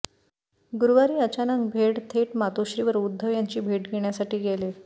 गुरुवारी अचानक भेड थेट मातोश्रीवर उद्धव यांची भेट घेण्यासाठी गेले